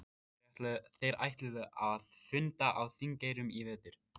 Þeir ætluðu að funda á Þingeyrum í vetur.